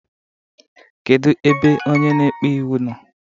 Kedu ebe onye na-ekpe iwu nọọ?